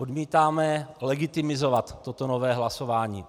Odmítáme legitimizovat toto nové hlasování.